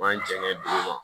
Man jɛngɛ